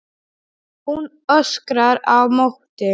Hún öskrar á móti.